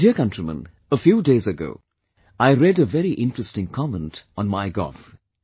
My dear countrymen, a few days ago, I read a very interesting comment on My gov